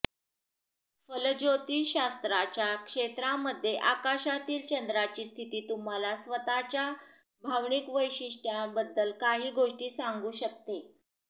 फलज्योतिषशास्त्राच्या क्षेत्रामध्ये आकाशातील चंद्राची स्थिती तुम्हाला स्वतःच्या भावनिक वैशिष्ट्यांबद्दल काही गोष्टी सांगू शकते